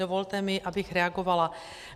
Dovolte mi, abych reagovala.